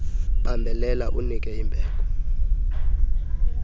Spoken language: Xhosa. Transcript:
bambelela unike imbeko